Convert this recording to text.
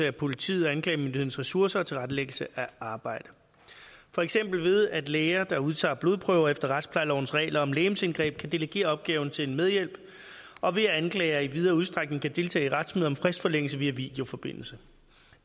af politiets og anklagemyndighedens ressourcer og tilrettelæggelse af arbejdet for eksempel ved at læger der udtager blodprøver efter retsplejelovens regler om legemsindgreb kan delegere opgaven til en medhjælp og ved at anklager i videre udstrækning kan deltage i retsmøder om fristforlængelse via videoforbindelse